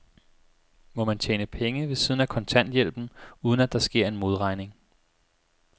Må man tjene penge ved siden af kontanthjælpen, uden at der sker en modregning?